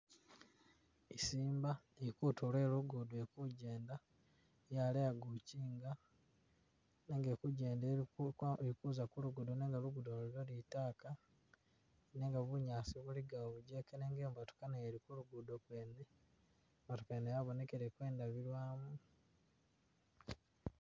Isiimba ili kutulo kwe lugudo ili kugyenda yaleya kukinga nenga ili kugyenda iliko ili kuza ku lugudo nenga lugudo lwa litaaka nenga bunyaasi buligawo bugyeke nenga iliyo i'motoka nayo ili ku lugudo kwene, i'motoka yene yabonekileko indabilwamu,...